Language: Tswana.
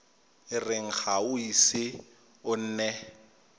ga o ise o nne